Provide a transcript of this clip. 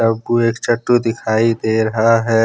आपको एक चट्टू दिखाई दे रहा है।